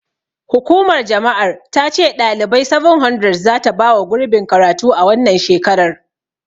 Hukumar jama'ar ta ce ɗalibai 700 zata bawa gurbin karatu a wannan shekarar.